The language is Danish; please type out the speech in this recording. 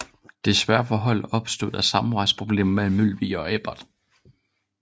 Desværre for holdet opstod der samarbejdsproblemer mellem Mølvig og Ebert